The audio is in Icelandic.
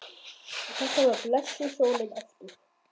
Og þarna var blessuð sólin aftur.